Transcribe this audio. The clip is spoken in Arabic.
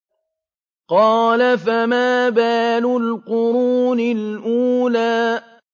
قَالَ فَمَا بَالُ الْقُرُونِ الْأُولَىٰ